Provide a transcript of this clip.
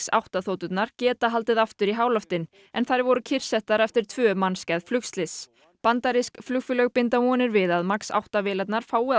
átta þoturnar geta haldið aftur upp í háloftin en þær voru kyrrsettar eftir tvö mannskæð flugslys bandarísk flugfélög binda vonir við að Max átta vélarnar fái